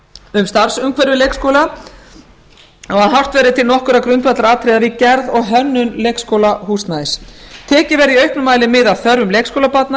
um starfsumhverfi leikskóla og að horft verði til nokkurra grundvallaratriða við gerð og hönnun leikskólahúsnæðis tekið verði í auknum mæli mið af þörfum leikskólabarna